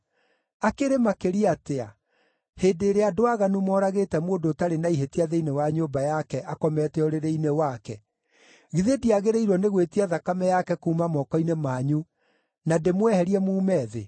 Akĩrĩ makĩria atĩa, hĩndĩ ĩrĩa andũ aaganu moragĩte mũndũ ũtarĩ na ihĩtia thĩinĩ wa nyũmba yake akomete ũrĩrĩ-inĩ wake, githĩ ndiagĩrĩirwo nĩ gwĩtia thakame yake kuuma moko-inĩ manyu na ndĩmweherie muume thĩ!”